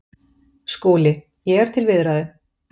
SKÚLI: Ég er til viðræðu.